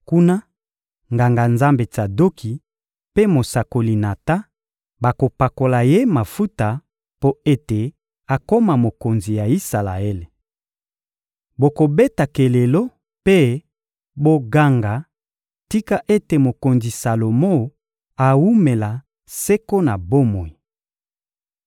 Kuna, Nganga-Nzambe Tsadoki mpe mosakoli Natan bakopakola ye mafuta mpo ete akoma mokonzi ya Isalaele. Bokobeta kelelo mpe boganga: «Tika ete mokonzi Salomo awumela seko na bomoi!»